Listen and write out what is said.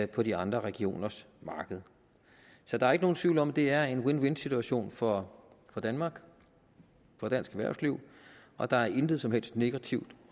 på de andre regioners markeder så der er ikke nogen tvivl om at det er en win win situation for danmark for dansk erhvervsliv og der er intet som helst negativt